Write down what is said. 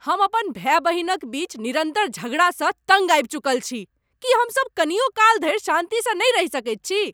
हम अपन भाय बहिनक बीच निरन्तर झगड़ासँ तङ्ग आबि चुकल छी। की हमसब कनियो काल धरि शान्तिसँ नहि रहि सकैत छी?